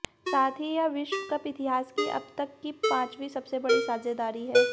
साथ ही यह विश्व कप इतिहास की अब तक की पांचवीं सबसे बड़ी साझेदारी है